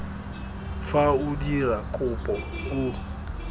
fa o dira kopo o